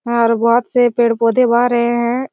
और बहुत से पेड़-पौधे बाह रहे हैं।